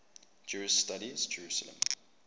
jewish studies jerusalem